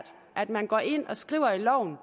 at man går ind og skriver i loven